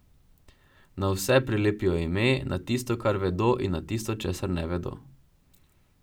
Na vse prilepijo ime, na tisto, kar vedo in na tisto, česar ne vedo.